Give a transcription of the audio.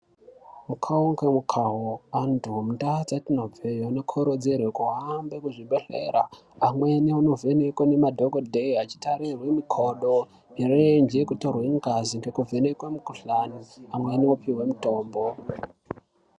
Mukavo ngemukavo antu mundau dzetinobve anokurudzirwa kuhamba muzvibhehlera amweni onovhenekwa nemadhokodheya achitarirwe mikodo mirenje nekuvhenekwe ngazi nekutorwa mikuhlani amweni opihwe mitombo.